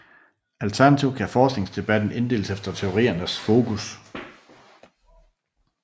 Alternativt kan forskningsdebatten inddeles efter teoriernes fokus